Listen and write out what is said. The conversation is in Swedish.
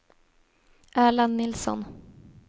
Erland Nilsson